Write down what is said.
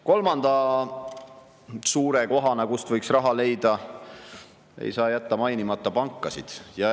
Kolmanda suure kohana, kust võiks raha leida, ei saa jätta mainimata pankasid.